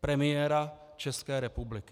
premiéra České republiky.